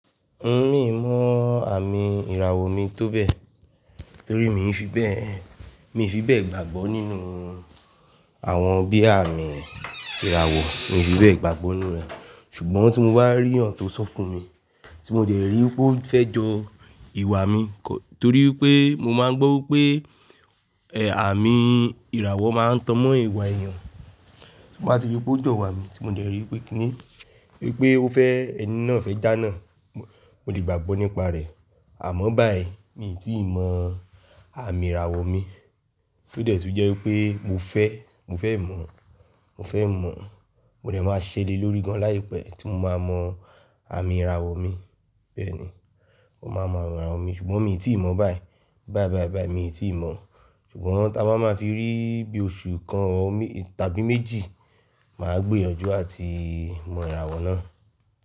N ò mí mọ àmì ìràwọ mi tóbẹ̀, torí mi ò fi bẹ́ẹ̀, mi ò fi bẹ́ẹ̀ gbàgbọ́ nínú àwọn bí àmì ìràwọ̀, mi ò fi bẹ́ẹ̀ gbàgbọ́ nínú rẹ̀. Ṣugbọn tí mo bá rí iyán tó sọ fún mi, tí mo dẹ̀ rí pé ó fẹ́ jọ ìwà mi, torí pé mo máa ń gbọ́ pé ẹ̀, àmì ìràwọ máa ń tọ́mọ ìwà èèyàn, tí wọ́n bá fi jẹ́ pé ó jọ ìwà mi, tí mo dẹ̀ rí pé kíni, pé ó fẹ́, ẹni náà fẹ́ jánà. Mò lè gbàgbọ́ nípa rẹ̀. Àmọ́ báẹ̀ẹ̀yí, mi ì tíì mọ àmì ìràwọ mi. Tó dẹ̀ tú jẹ́ pé mo fẹ́, mo fẹ́ mọ̀, mo fẹ́ mọ̀, mòọ́ dẹ̀ máa ṣèlé lórí í gan-an láìpẹ́ tí mo máa mọ àmì ìràwọ mi. Bẹ́ẹ̀ni, mo máa mọ ìràwọ mi, ṣùgbọ́n mi ì tíì mọ̀ báẹ̀ẹ̀yí. Báẹ̀ẹ̀yí, báẹ̀ẹ̀yí, mi ì tíì mọ̀. Ṣugbọn tí a bá máa fi rí bí oṣù kan tàbí méjì, màá gbìyànjú à ti mọ ìràwọ náà.